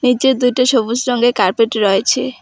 নীচে দুইটা সবুজ রঙ্গের কার্পেট রয়েছে।